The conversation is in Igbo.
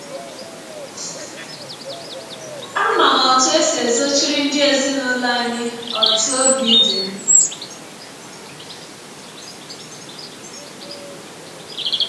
Ama m ọtụ esi ezọchiri ndị ezinụlọ anyị ọtụ ọbi dị m.